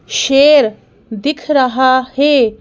शेर दिख रहा है।